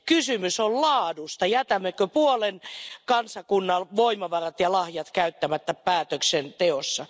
Kysymys on laadusta jätämmekö puolen kansakunnan voimavarat ja lahjat käyttämättä päätöksenteossa?